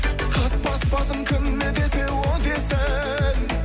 қатпас басым кім не десе о десін